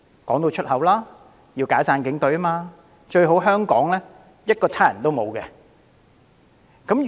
他們直言要解散警隊，最好香港一個警察都沒有。